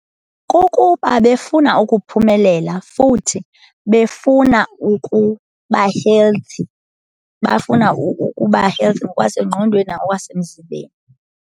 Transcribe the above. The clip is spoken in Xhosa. Kukuba befuna ukuphumelela futhi befuna ukuba-healthy bafuna ukuba-healthy ngokwasengqondweni nangokwasemzimbeni.